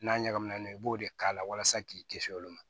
N'a ɲagaminen i b'o de k'a la walasa k'i kisi olu ma